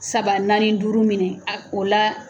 Saba naani duuru minɛ a o la